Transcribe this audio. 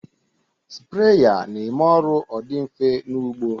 Spreya na-eme ọrụ ọ dị mfe n'ụgbọ